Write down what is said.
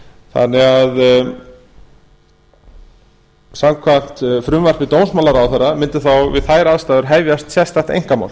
þannig að samkvæmt frumvarpi dómsmálaráðherra mundu þá við þær aðstæður hefjast sérstakt einkamál